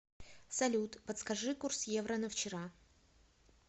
салют подскажи курс евро на вчера